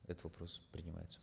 этот вопрос принимается